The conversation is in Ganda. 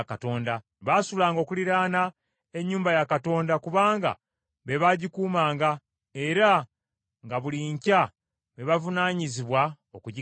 Baasulanga okuliraana ne nnyumba ya Katonda kubanga be baagikuumanga, era nga buli nkya be bavunaanyizibwa okugiggalawo.